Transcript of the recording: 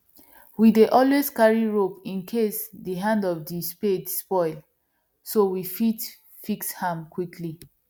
we dey always carry rope incase the hand of the spade spoil so we fit fix am quickly